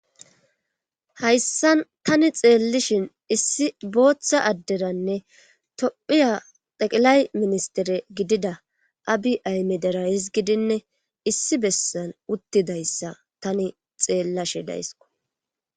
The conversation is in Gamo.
hayssan tani xeellishin issi booththa adderanne tophiya deqilay ministere gidida abi aymederahis gidinne issi bessan uttidayssa tani xeellashe daysqo